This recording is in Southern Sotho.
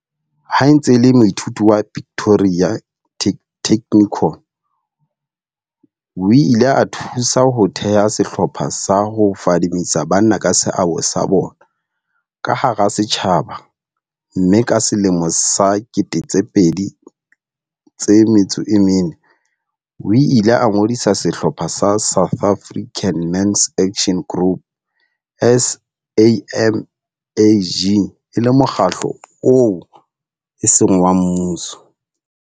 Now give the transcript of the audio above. Ha e ntse e le moithuti wa Pretoria Technikon, o ile a thusa ho theha sehlopha sa ho fadimehisa banna ka seabo sa bona ka hara setjhaba mme ka 2004, o ile a ngodisa sehlopha sa South African Men's Action Group, SAMAG, e le mokgatlo oo eseng wa mmuso.